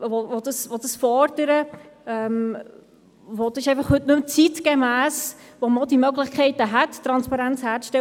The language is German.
Wir wissen jedoch nicht, wie die Abstimmung herauskommt.